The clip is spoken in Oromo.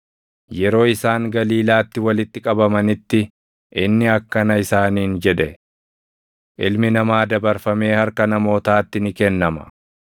Yeroo isaan Galiilaatti walitti qabamanitti inni akkana isaaniin jedhe; “Ilmi Namaa dabarfamee harka namootaatti ni kennama.